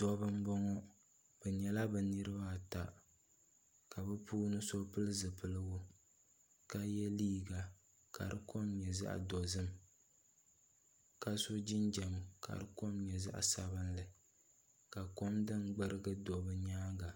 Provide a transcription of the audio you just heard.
Dabba n boŋo bi nyɛla bi niraba ata ka so pili zipiligu ka yɛ liiga ka di kom nyɛ zaɣ dozim ka so jinjɛm ka di kom nyɛ zaɣ dozim ka kom din gbirigi do nimaani